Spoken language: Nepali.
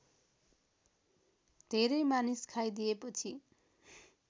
धेरै मानिस खाइदिएपछि